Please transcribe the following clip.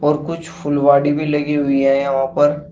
और कुछ फुलवाड़ी भी लगी हुई है यहां पर।